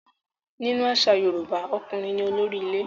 Nínú àṣà Yorùbá, ọkùnrin ní olórí ilé.